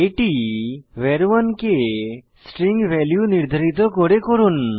এটি ভার 1 কে স্ট্রিং নির্ধারিত করে করুন